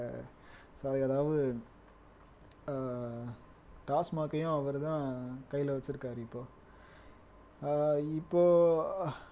அதாவது ஆஹ் TASMAC ஐயும் அவர்தான் கையிலே வச்சிருக்காரு இப்போ ஆஹ் இப்போ